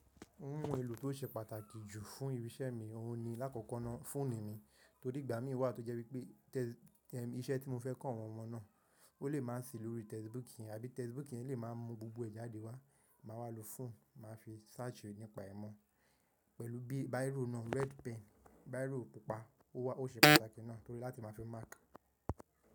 Ohun èlò tó ṣe pàtàkì jù fún irinṣẹ́ mi, òhun ni lákòókò náà fóònù mi, torí ìgbà mí wà tó jẹ́ wípé iṣẹ́ tí mo fẹ́ kọ àwọn ọmọ náà, ó lè máa sì lórí textbook yẹn àbí textbook yẹn lè máa mú gbogbo ẹ̀ jáde wá, màá ma lo fóònù máa fi searchi nípa ìmọ̀. Pẹ̀lú bí bírò náà, red pen, bírò pupa ó wà ó ṣe pàtàkì náà torí láti máa fi máàkì.